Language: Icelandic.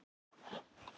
Hann býr á Álftanesi.